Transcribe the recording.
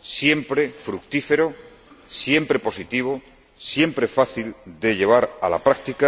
siempre fructífero, siempre positivo, siempre fácil de llevar a la práctica,